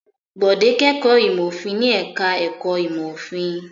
Bọ̀dé kẹ́kọ̀ọ́ ìmọ̀-òfin ní ẹ̀ka-ẹ̀kọ́ ìmọ̀-òfin.